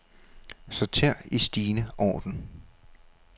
Sorter i stigende orden.